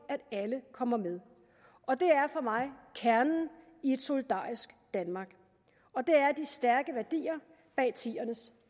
at alle kommer med og det er for mig kernen i et solidarisk danmark og det er de stærke værdier bag tierne s